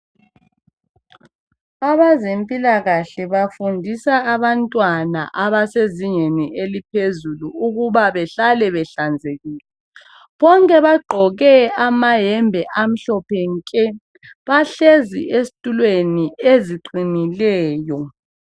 Abezempilakahle bafundisa abantwana abasezingeni eliphezulu ukuba behlale ehlanzekileyo. Bonke bagqoke amayembe amhlophe nke bahlezi ezitulweni eziqinileyo.